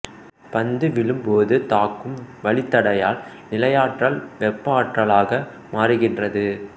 பந்து விழும் போது தாக்கும் வளித்தடையால் நிலையாற்றல் வெப்ப ஆற்றலாக மாறுகின்றது